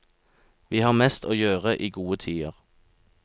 Vi har mest å gjøre i gode tider.